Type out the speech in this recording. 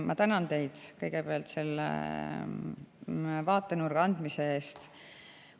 Ma tänan teid kõigepealt selle vaatenurga andmise eest.